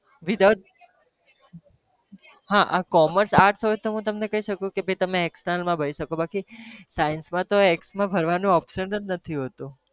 હા આ commers arts હોય તો હું તમને કહી શકું કે ભાઈ તમે external માં ભરી શકો બાકી science માં તો ex માં ભરવાનું option જ નથી.